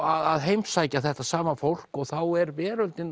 að heimsækja þetta sama fólk og þá er veröldin